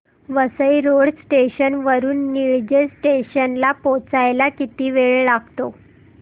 Vasai road station वरून Nilje station ला पोहचायला किती वेळ लागतो